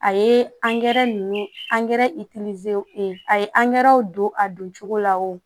A ye angɛrɛ ninnu angɛrɛ e ye angɛrɛw don a don cogo la o